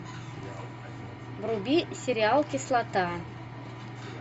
вруби сериал кислота